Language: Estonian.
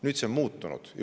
Nüüd on see muutunud.